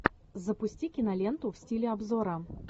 запусти киноленту в стиле обзора